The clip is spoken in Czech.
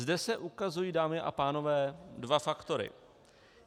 Zde se ukazují, dámy a pánové, dva faktory.